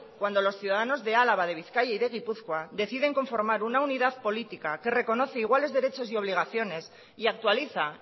cuando los ciudadanos de álava de bizkaia y de gipuzkoa deciden conformar una unidad política que reconoce iguales derechos y obligaciones y actualiza